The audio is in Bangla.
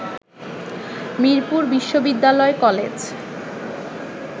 মিরপুর বিশ্ববিদ্যালয় কলেজ